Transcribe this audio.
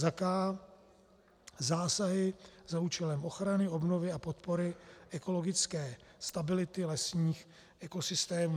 k) Zásahy za účelem ochrany, obnovy a podpory ekologické stability lesních ekosystémů.